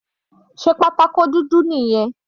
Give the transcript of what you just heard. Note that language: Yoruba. Sé pátákó dúdú nìyẹn?